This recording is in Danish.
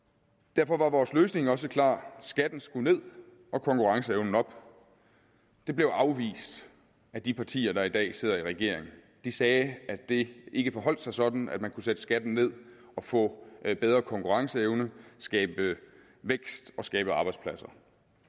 derfor var vores løsning også klar skatten skulle ned og konkurrenceevnen op det blev afvist af de partier der i dag sidder i regering de sagde at det ikke forholdt sig sådan at man kunne sætte skatten ned og få bedre konkurrenceevne skabe vækst og skabe arbejdspladser